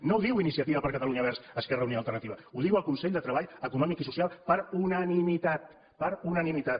no ho diu iniciativa per catalunya verds esquerra unida i alternativa ho diu el consell de treball econòmic i social per unanimitat per unanimitat